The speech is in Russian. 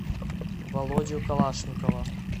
володю калашникова